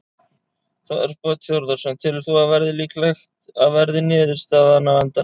Þorbjörn Þórðarson: Telur þú að það verði líklegt að verði niðurstaðan á endanum?